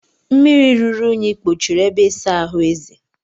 Mmiri ruru unyi kpochiri ebe ịsa ahụ Eze